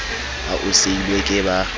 ha o seilwe ke ba